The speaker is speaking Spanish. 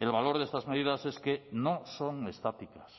el valor de estas medidas es que no son estáticas